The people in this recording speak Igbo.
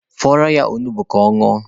Fọrọ ya onugbu ka ọ ñụọ.